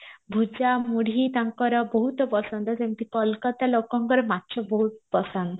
ଭୁଜା ମୁଢି ତାଙ୍କର ବହୁତ ପସନ୍ଦ ସେମତି କୋଲକାତା ଲୋକଙ୍କର ମାଛ ବହୁତ ପସନ୍ଦ